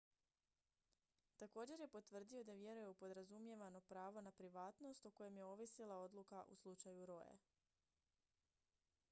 također je potvrdio da vjeruje u podrazumijevano pravo na privatnost o kojem je ovisila odluka u slučaju roe